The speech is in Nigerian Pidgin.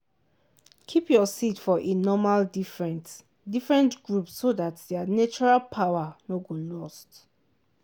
keep your seed for e normal different different group so that their natural power no go lost.